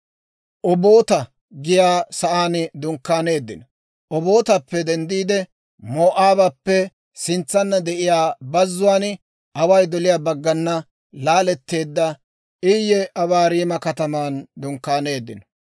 Obootappe denddiide, Moo'aabappe sintsanna de'iyaa bazzuwaan, away doliyaa baggana, laaletteedda Iye Abaarima kataman dunkkaaneeddino.